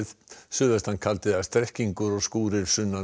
suðvestan kaldi eða strekkingur og skúrir sunnan og